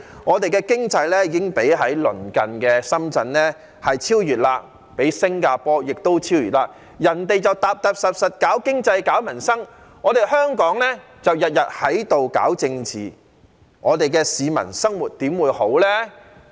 我們的經濟已經被鄰近的深圳超越，亦被新加坡超越，人家踏踏實實搞經濟、搞民生，香港就日日在這裏搞政治，市民的生活又怎會好呢？